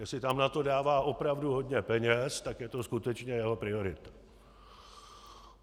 Jestli tam na to dává opravdu hodně peněz, tak je to skutečně jeho priorita.